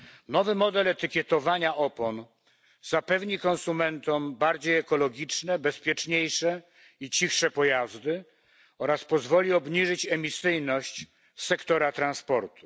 Nowy model etykietowania opon zapewni konsumentom bardziej ekologiczne, bezpieczniejsze i cichsze pojazdy oraz pozwoli obniżyć emisyjność sektora transportu.